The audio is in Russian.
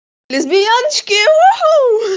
лесбияночки уху